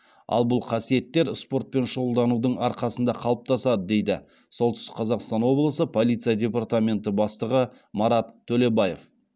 ал бұл қасиеттер спортпен шұғылданудың арқасында қалыптасады дейді солтүстік қазақстан облысы полиция депортаменті бастығы марат төлебаев